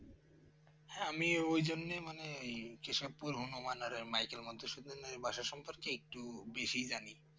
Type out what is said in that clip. হ্যাঁ আমি ওই জন্য মানেই কেশবপুর হনুমান আরে মাইকেল মধুসূদনের বাসা সম্পর্কে একটু বেশি জানি